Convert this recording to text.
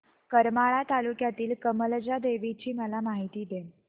करमाळा तालुक्यातील कमलजा देवीची मला माहिती दे